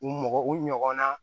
U mɔgɔ u ɲɔgɔnna